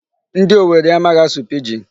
Ndi Owere amaghị asụ Pidgin.